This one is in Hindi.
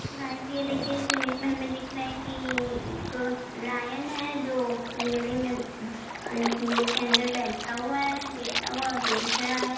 गाइज ये देखिए इस इमेज में हमे दिख रहा है कि ये एक लायन है जो पिंजड़े में उम्म पिंजरे के अंदर बैठा हुआ है लेटा हुआ और देख रहा है।